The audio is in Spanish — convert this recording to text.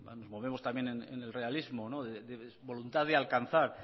volvemos también en el realismo de voluntad de alcanzar